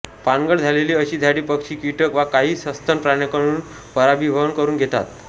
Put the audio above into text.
पानगळ झालेली अशी झाडे पक्षी कीटक वा काही सस्तन प्राण्यांकडून परागीभवन करून घेतात